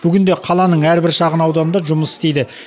бүгінде қаланың әрбір шағын ауданында жұмыс істейді